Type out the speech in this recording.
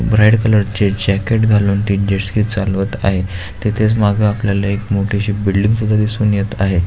Bright colour चे jacket घालून ते जेटस्की चालवत आहेत तेथेच मग आपल्याला एक मोठी अशी बिल्डिंग सुद्धा दिसून येत आहे.